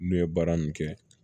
N'u ye baara nin kɛ